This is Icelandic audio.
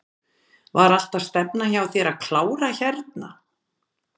Var alltaf stefnan hjá þér að klára hérna?